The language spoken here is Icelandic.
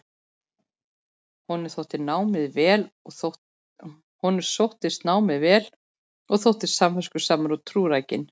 Honum sóttist námið vel og þótti samviskusamur og trúrækinn.